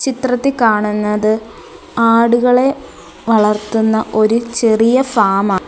ചിത്രത്തിൽ കാണുന്നത് ആടുകളെ വളർത്തുന്ന ഒരു ചെറിയ ഫാമാ --